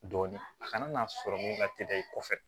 Dɔɔnin a kana n'a sɔrɔ mun ka teli i kɔfɛ